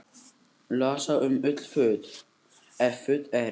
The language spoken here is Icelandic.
Losa um öll föt, ef föt eru.